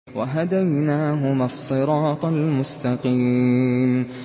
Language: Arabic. وَهَدَيْنَاهُمَا الصِّرَاطَ الْمُسْتَقِيمَ